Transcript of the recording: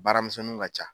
Baaramisɛnninw ka ca